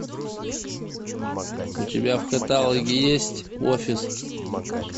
у тебя в каталоге есть офис